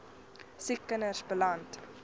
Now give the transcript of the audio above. siek kinders beland